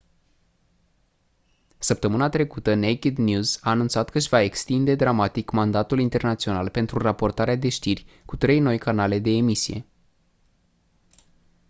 săptămâna trecută naked news a anunțat că își va extinde dramatic mandatul internațional pentru raportarea de știri cu trei noi canale de emisie